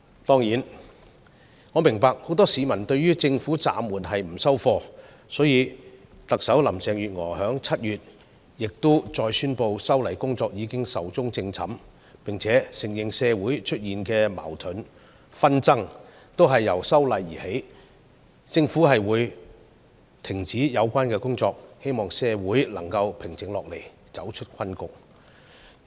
當然，我明白很多市民對政府暫緩修例的決定感到不滿，所以，特首林鄭月娥亦已在7月再次宣布修例工作已"壽終正寢"，並且承認社會出現的矛盾和紛爭均由修例而起，政府會停止有關工作，希望社會能平靜下來，走出困局。